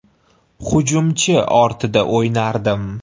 Hujumchi ortida o‘ynardim.